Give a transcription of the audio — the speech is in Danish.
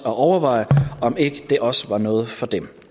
overveje om ikke det også var noget for dem